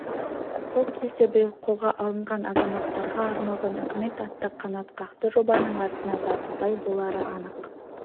сол кезде биыл қолға алынған азаматтарға арналған үкімет атты қанатқақты жобаның атына заты сай болары анық